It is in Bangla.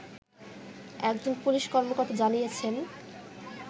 একজন পুলিশ কর্মকর্তা জানিয়েছেন